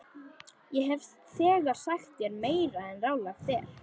Ég hef þegar sagt þér meira en ráðlegt er.